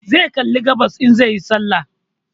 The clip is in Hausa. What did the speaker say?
Zai kalli gabas in zai yi sallah